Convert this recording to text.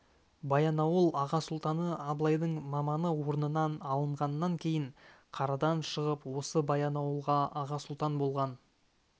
баянауыл аға сұлтаны абылайдың маманы орнынан алынғаннан кейін қарадан шығып осы баянауылға аға сұлтан болған